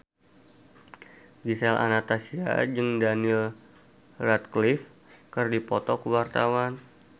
Gisel Anastasia jeung Daniel Radcliffe keur dipoto ku wartawan